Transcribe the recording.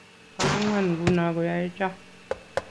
bo ang'wan nguno koyae choe